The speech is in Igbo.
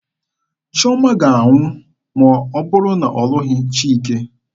Chiọma ga-anwụ ma ọ bụrụ na ọ lụghị Chike.